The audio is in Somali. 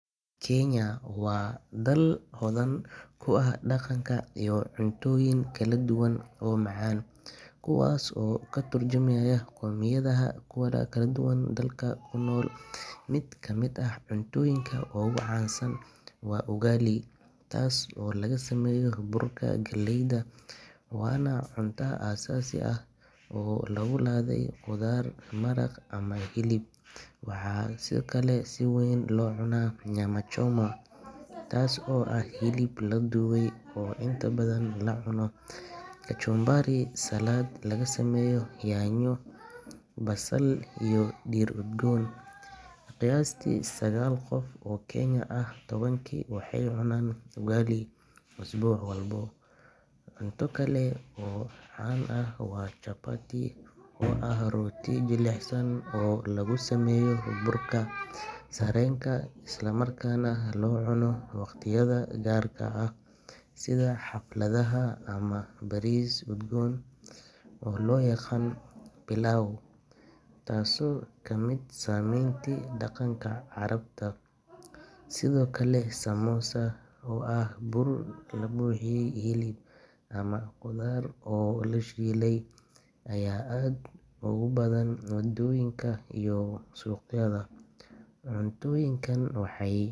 Kenya waa dal hodan ku ah dhaqanka iyo cuntooyin kala duwan oo macaan, kuwaas oo ka tarjumaya qoomiyadaha kala duwan ee dalka ku nool. Mid ka mid ah cuntooyinka ugu caansan waa ugali, taas oo laga sameeyo burka galleyda, waana cunto aasaasi ah oo lagu ladhay khudaar, maraq ama hilib. Waxaa kaloo si weyn loo cunaa nyama choma, taas oo ah hilib la dubay oo inta badan lala cunno kachumbari — salad laga sameeyo yaanyo, basal iyo dhir udgoon. Qiyaastii sagaal qof oo Kenyan ah tobankii waxay cunaan ugali usbuuc walba. Cunto kale oo caan ah waa chapati, oo ah rooti jilicsan oo lagu sameeyo burka sarreenka, islamarkaana loo cuno waqtiyada gaarka ah sida xafladaha ama cashooyinka gaarka ah. Magaalada Mombasa, waxaa laga cunaa cuntooyin badeed sida kalluun la shiilay iyo bariis udgoon oo loo yaqaan pilau, taasoo ka timid saameynta dhaqanka Carabta. Sidoo kale, samosa, oo ah bur la buuxiyay hilib ama khudaar oo la shiilay, ayaa aad ugu badan waddooyinka iyo suuqyada. Cuntooyinkan waxay.